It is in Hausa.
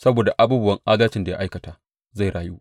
Saboda abubuwan adalcin da ya aikata, zai rayu.